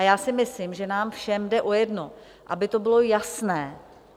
A já si myslím, že nám všem jde o jedno: aby to bylo jasné.